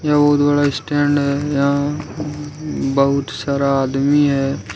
यह बहुत बड़ा स्टैंड है यहां बहुत सारा आदमी है।